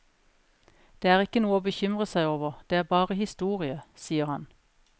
Det er ikke noe å bekymre seg over, det er bare historie, sier han.